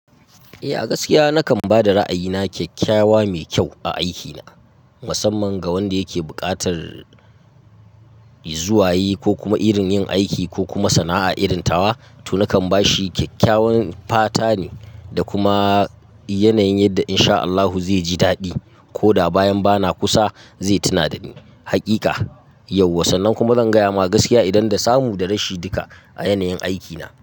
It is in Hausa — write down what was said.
Eh a gaskiya nakan ba da ra'ayina kyakkyawa mai kyau a aikina, musamman ga wanda yake buƙatar zuwaye ko kuma irin yin aiki ko kuma sana'a irin tawa. To nakan bashi kyakkyawan fata ne da kuma yanayin yadda in sha Allahu zai ji daɗi. Ko da bayan ba na kusa zai tuna da ni. Hakika, yauwa sannan kuma zan gaya ma gaskiya idan da samu da rashin duka a yanayin aikina.